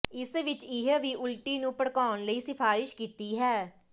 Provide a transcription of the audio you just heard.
ਇਸ ਵਿਚ ਇਹ ਵੀ ਉਲਟੀ ਨੂੰ ਭੜਕਾਉਣ ਲਈ ਸਿਫਾਰਸ਼ ਕੀਤੀ ਹੈ